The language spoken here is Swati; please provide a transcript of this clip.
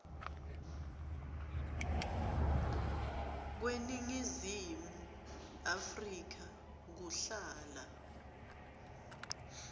kweningizimu afrika kuhlala